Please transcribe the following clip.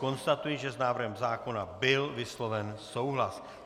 Konstatuji, že s návrhem zákona byl vysloven souhlas.